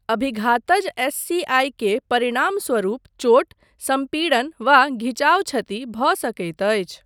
अभिघातज SCI. के परिणामस्वरूप चोट, सम्पीड़न वा घिचाओ क्षति भऽ सकैत अछि।